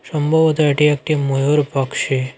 সম্ভবত এটি একটি ময়ূর পকসি।